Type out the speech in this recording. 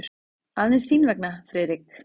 Aðeins þín vegna, Friðrik.